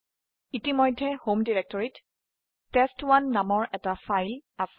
ইতিমধ্যে homeanirbanarc ত তেস্ত১ নামৰ এটা ফাইল আছে